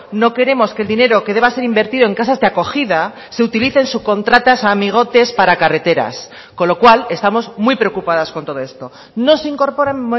no queremos que el dinero que deba ser invertido en casas de acogida se utilicen subcontratas a amigotes para carreteras con lo cual estamos muy preocupadas con todo esto no se incorporan